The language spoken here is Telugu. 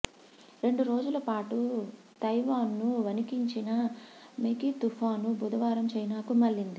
రెండు రోజుల పాటు తైవాన్ను వణికించిన మెగీ తుపాను బుధవారం చైనాకు మళ్లింది